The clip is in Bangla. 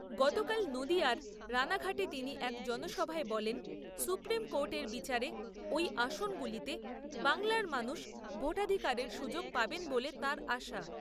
গতকাল নদীয়ার রাণাঘাটে তিনি এক জনসভায় বলেন, সুপ্রীম কোর্টের বিচারে ওই আসনগুলিতে বাংলার মানুষ ভোটাধিকারের সুযোগ পাবেন বলে তাঁর আশা।